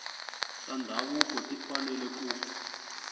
ta ndhavuko ti fanele ku